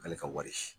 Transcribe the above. K'ale ka wari si